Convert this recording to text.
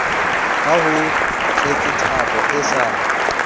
ha ho tletsethabo e sa